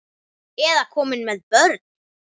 Eða komin með börn?